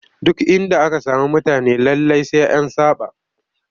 Duk inda aka sami mutane lallai sai an saɓa